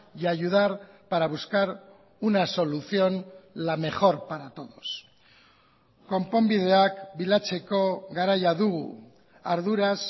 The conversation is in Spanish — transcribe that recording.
y ayudar para buscar una solución la mejor para todos konponbideak bilatzeko garaia dugu arduraz